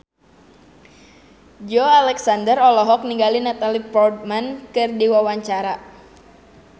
Joey Alexander olohok ningali Natalie Portman keur diwawancara